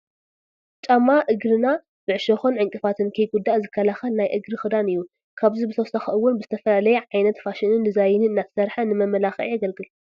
ጫማ እንግርና ብዕሾኽን ዕንቅፋትን ከይጉዳእ ዝከላኸል ናይ እግሪ ክዳን እዩ፡፡ ካብዚ ብተወሳኺ እውን ብዝተፈላለየ ዓይነት ፋሽንን ዲዛይንን እናተሰርሐ ንመመላክዒ የግልግል፡፡